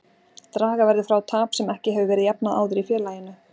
Draga verður frá tap sem ekki hefur verið jafnað áður í félaginu.